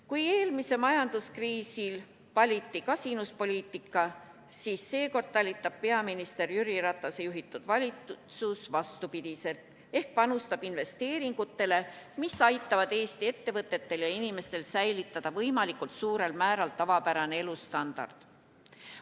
Kui eelmise majanduskriisi ajal valiti kasinuspoliitika, siis seekord talitab peaminister Jüri Ratase juhitud valitsus vastupidi ehk panustab investeeringutele, mis aitavad Eesti ettevõtetel ja inimestel säilitada võimalikult suurel määral tavapärase elustandardi.